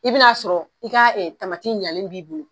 I bɛ na'a sɔrɔ i ka tamati ɲanɛ b'i bolo.